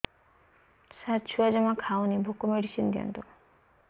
ସାର ଛୁଆ ଜମା ଖାଉନି ଭୋକ ମେଡିସିନ ଦିଅନ୍ତୁ